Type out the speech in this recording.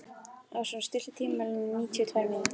Ásrún, stilltu tímamælinn á níutíu og tvær mínútur.